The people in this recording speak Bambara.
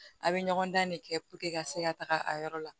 A' bɛ ɲɔgɔn dan de kɛ ka se ka taga a yɔrɔ la